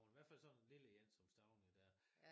Hvert fald sådan en lille en som Stauning der